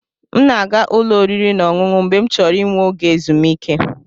M na-aga ụlọ oriri na ọṅụṅụ mgbe m chọrọ inwe oge ezumike.